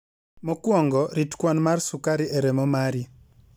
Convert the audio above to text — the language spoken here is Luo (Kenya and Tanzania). Mokwongo, rit kwan mar sukari e remo mari.